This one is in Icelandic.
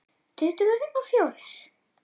Tuttugu og fjórir!